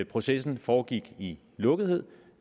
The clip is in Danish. processen foregik i lukkethed